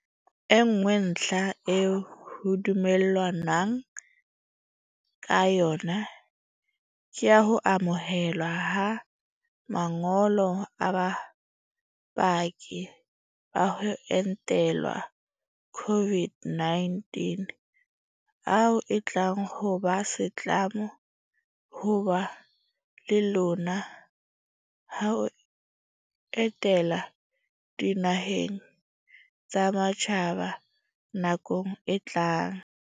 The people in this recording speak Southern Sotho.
E nngwe ntlha eo ho dumellanweng ka yona ke ya ho amohelwa ha ma ngolo a bopaki ba ho entelwa COVID-19 ao e tlang ho ba setlamo ho ba le lona ha o etela dinaheng tsa matjhaba nakong e tlang.